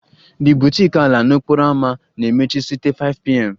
The boutique ala n'okporo ámá na-emechi site 5pm